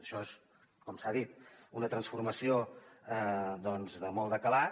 això és com s’ha dit una transformació de molt de calat